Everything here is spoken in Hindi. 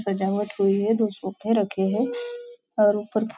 सजावट हुई है दो सोफे रखे है और ऊपर --